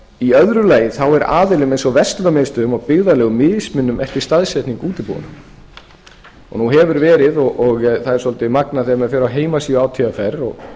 í öðru lagi er aðilum eins og verslunarmiðstöðvum og byggðarlögum mismunað eftir staðsetningu útibúanna nú hefur verið og það er svolítið magnað þegar maður fer á heimasíðu átvr og